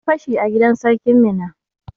An yi fashi a gidan sarkin Minna.